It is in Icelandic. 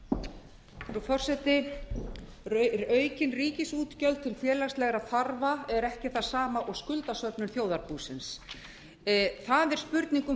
frú forseti aukin ríkisútgjöld til félagslegra þarfa er ekki það sama og skuldasöfnun þjóðarbúsins það er spurning um